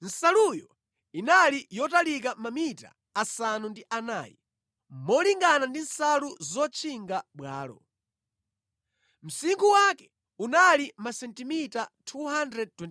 Nsaluyo inali yotalika mamita asanu ndi anayi, molingana ndi nsalu zotchinga bwalo. Msinkhu wake unali masentimita 229,